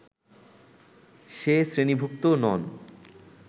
সে শ্রেণীভুক্ত নন